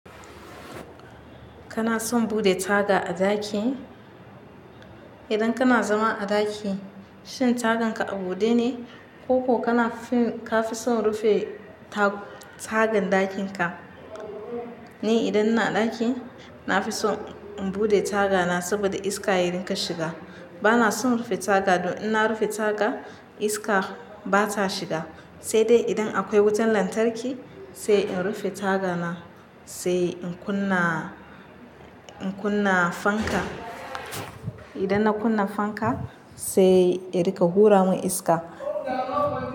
Kana son bude taga a ɗaki? Idan kana zama a ɗaki, shin tagan ka a bude ne ko ka fi son rufe tagan ɗakin ka? Ni idan ina a ɗaki, na fi son in bude tagana saboda iska yarika shiga. Bana son rufe taga don in na rufe taga iska ba ta shiga. Sai dai idan akwai wutan lantarki sai in rufe tagana, sai in kunna, in kunna fanka. Idan na kunna fanka sai erika hura mun iska.